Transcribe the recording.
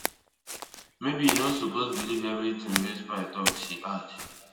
maybe e no suppose believe evritin wey spy tok she add